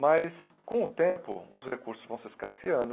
Mas, com o tempo, os recursos vão se escasseando.